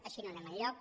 així no anem enlloc